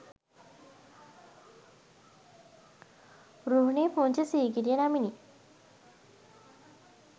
රුහුණේ පුංචි සීගිරිය නමිනි.